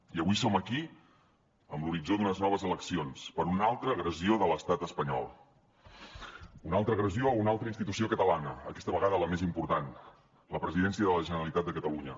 i avui som aquí amb l’horitzó d’unes noves eleccions per una altra agressió de l’estat espanyol una altra agressió a una altra institució catalana aquesta vegada la més important la presidència de la generalitat de catalunya